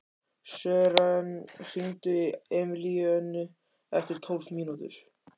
Sören, hringdu í Emilíönnu eftir tólf mínútur.